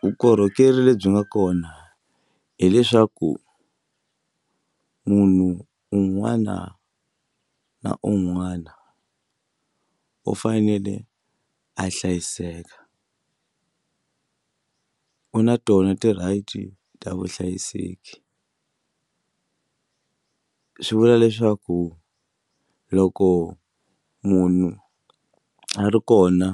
Vukorhokeri lebyi nga kona hileswaku munhu un'wana na un'wana u fanele a hlayiseka u na tona ti-right ta vuhlayiseki swi vula leswaku loko munhu a ri kona